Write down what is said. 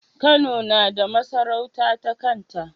Kano nada masarauta ta kanta